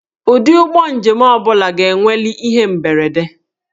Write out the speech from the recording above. Ụdị ụgbọ njem ọ bụla ga-enweli ihe mberede.